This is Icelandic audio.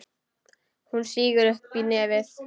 Hún sýgur upp í nefið.